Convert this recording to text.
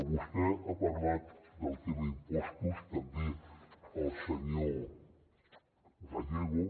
vostè ha parlat del tema impostos també el senyor gallego